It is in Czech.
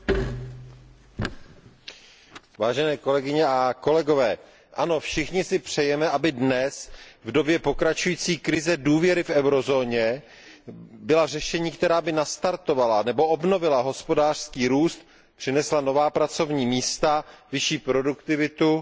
Pane předsedající, ano, všichni si přejeme, aby dnes, v době pokračující krize důvěry v eurozóně, byla řešení, která by nastartovala nebo obnovila hospodářský růst, přinesla nová pracovní místa, vyšší produktivitu a větší sociální začlenění.